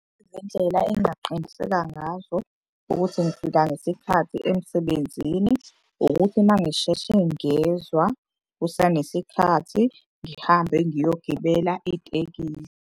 Indlela engaqinisekisa ngazo ukuthi ngifika ngesikhathi emsebenzini. Ukuthi uma ngisheshe ngezwa kusanesikhathi ngihambe ngiyogibela itekisi.